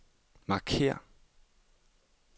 markér